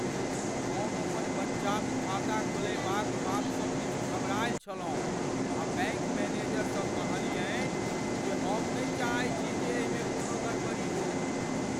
हम अपन बच्चाक खाता खोलयबाक बातसँ किछु घबरायल छलहुँ आ बैंक मैनेजरसँ कहलियनि जे हम नहि चाहैत छी जे एहिमे कोनो गड़बड़ी हो।